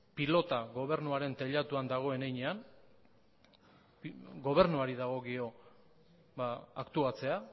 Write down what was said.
pilota gobernuaren teilatuan dagoen heinean gobernuari dagokio aktuatzea